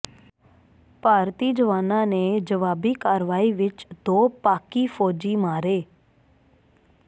ਭਾਰਤੀ ਜਵਾਨਾਂ ਨੇ ਜਵਾਬੀ ਕਾਰਵਾਈ ਵਿੱਚ ਦੋ ਪਾਕਿ ਫੌਜੀ ਮਾਰੇ